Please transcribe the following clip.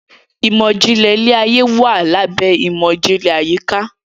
Imọ-jinlẹ ile-aye wa labẹ imọ-jinlẹ ayika